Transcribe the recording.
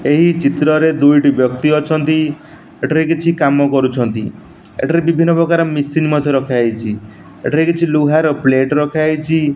ଏହି ଚିତ୍ରରେ ଦୁଇଟି ବ୍ୟକ୍ତି ଅଛନ୍ତି। ଏଠାରେ କିଛି କାମ କରୁଛନ୍ତି। ଏଠାରେ ବିଭିନ୍ନପ୍ରକାର ମିସିନ୍ ରଖାହେଇଚି। ଏଠାରେ କିଛି ଲୁହାର ପ୍ଲେଟ୍ ରଖାହେଇଚି।